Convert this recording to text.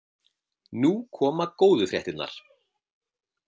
Nú koma góðu fréttirnar.